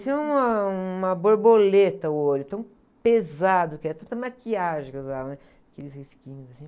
Parecia um, ãh, um, uma borboleta o olho, de tão pesado que era, de tanta maquiagem que eu usava, né? Aqueles risquinhos assim.